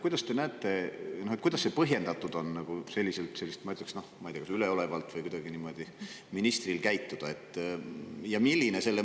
Kuidas te näete, et on põhjendatud nagu selliselt, ma ütleksin, ma ei tea, üleolevalt või kuidagi niimoodi ministril käituda?